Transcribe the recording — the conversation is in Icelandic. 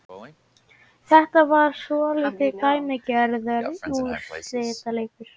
Þetta var svolítið dæmigerður úrslitaleikur